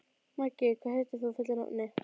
Maggi, hvað heitir þú fullu nafni?